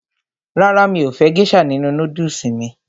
Rárá, mi ò fẹ́ gésà nínu nódùsù mí